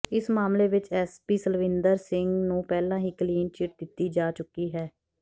ਇਸ ਮਾਮਲੇ ਵਿੱਚ ਐੱਸਪੀ ਸਲਵਿੰਦਰ ਸਿੰਘ ਨੂੰ ਪਹਿਲਾਂ ਹੀ ਕਲੀਨ ਚਿੱਟ ਦਿੱਤੀ ਜਾ ਚੁੱਕੀ ਹੈ